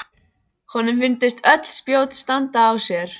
Honum fundust öll spjót standa á sér.